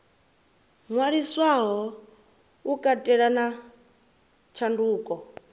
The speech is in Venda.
ṅwaliswaho u katela na tshanduko